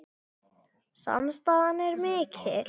Samstaðan er mikil